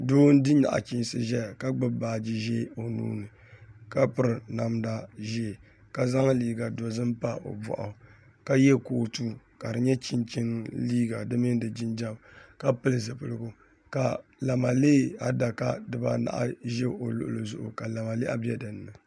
Doo n di naɣichisi zɛya ka gbubi baaji zɛɛ o nuu ni ka piri namda zɛɛ ka zaŋ liiga dozim pa o bɔɣu ka yiɛ kootu ka di yɛ chinchini liiga di mini di jinjam ka pili zupiligu ka lamalee adaka diba anahi za o lɔɣili zuɣu ka lamalehi bɛ dini.